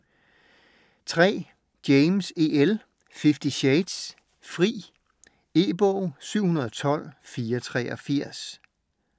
James, E. L.: Fifty shades: Fri E-bog 712483